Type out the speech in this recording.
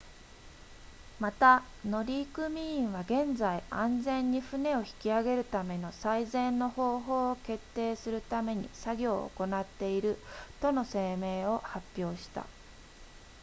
また乗組員は現在安全に船を引き上げるための最善の方法を決定するために作業を行っているとの声明を発表した